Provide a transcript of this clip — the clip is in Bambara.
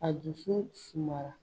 A dusu suma la.